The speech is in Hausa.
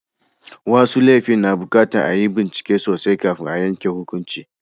Wasu laifi na buƙatar a yi bincike sosai kafin a yanke hukunci.